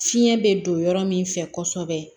Fiɲɛ bɛ don yɔrɔ min fɛ kosɛbɛ